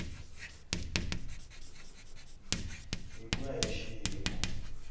hi ku ya hi xiyimo